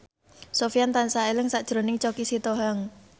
Sofyan tansah eling sakjroning Choky Sitohang